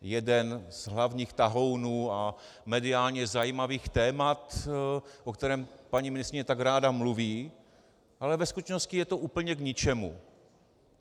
Jeden z hlavních tahounů a mediálně zajímavých témat, o kterém paní ministryně tak ráda mluví, ale ve skutečnosti je to úplně k ničemu.